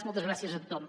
moltes gràcies a tothom